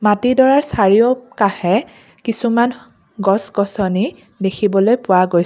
মাটিডৰাৰ চাৰিওকাষে কিছুমান গছ গছনি দেখিবলৈ পোৱা গৈ--